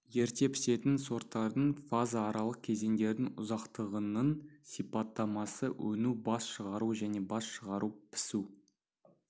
ерте пісетін сорттардың фаза аралық кезеңдердің ұзақтығының сипаттамасы өну бас шығару және бас шығару-пісу